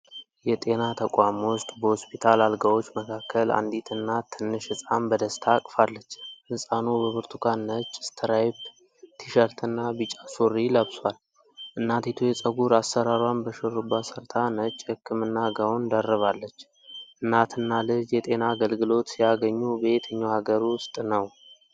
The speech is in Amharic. የጤና ተቋም ውስጥ በሆስፒታል አልጋዎች መካከል አንዲት እናት ትንሽ ሕፃን በደስታ አቅፋለች። ሕፃኑ በብርቱካን ነጭ ስትራይፕ ቲ-ሸርትና ቢጫ ሱሪ ለብሷል። እናቲቱ የፀጉር አሠራሯን በሽሩባ ሰርታ ነጭ የህክምና ጋውን ደርባለች። እናትና ልጅየጤና አገልግሎት ሲያገኙ በየትኛው ሀገር ውስጥ ነው?